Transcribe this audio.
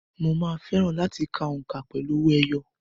Mo máa fẹ́ràn láti ka òǹkà pẹ̀lú owó ẹyọ.